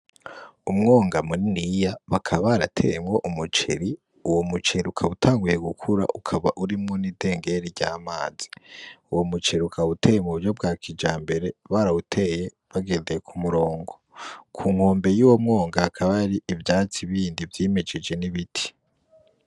Umwonga mu niniya bakaba barateyemwo umuceri uwo muceri ukaba utanguye gukura ukaba urimwo n'idengeri ry'amazi, uwo muceri ukaba uteye mu buryo bwa kijambere barawuteye bagendeye ku murongo ku nkombe yuwo mwonga hakaba hari ivyatsi bindi vyimejeje n'ibiti.